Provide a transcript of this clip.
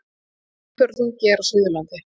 Umferðarþungi er á Suðurlandi